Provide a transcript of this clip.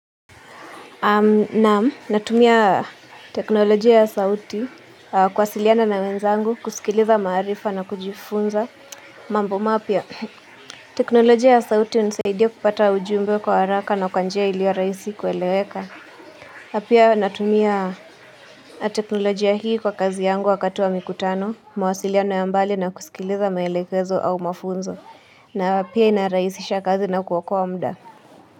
Naam, natumia teknolojia ya sauti kuwasiliana na wenzangu, kusikiliza maarifa na kujifunza. Mambo mapya, teknolojia ya sauti unisaidia kupata ujumbe kwa haraka na kwa njia iliyo rahisi kueleweka. Na pia natumia teknolojia hii kwa kazi yangu wakati wa mikutano, mawasiliana ya mbali na kusikiliza maelekezo au mafunzo. Na pia inarahisisha kazi na kuokoa muda.